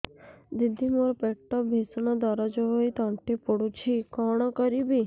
ଦିଦି ମୋର ପେଟ ଭୀଷଣ ଦରଜ ହୋଇ ତଣ୍ଟି ପୋଡୁଛି କଣ କରିବି